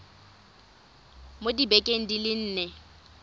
mo dibekeng di le nne